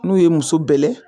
N'u ye muso bɛlɛn